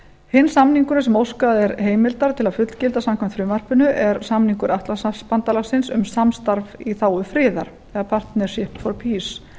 hinn samningurinn sem óskað er heimildar til að fullgilda samkvæmt frumvarpinu er samningur atlantshafsbandalagsins um samstarf í þágu friðar eða partnership for peace